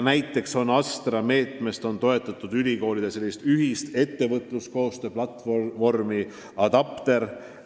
Näiteks on ASTRA meetme raames toetatud ülikoolide ühist ettevõtluskoostöö platvormi ADAPTER.